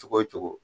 Cogo o cogo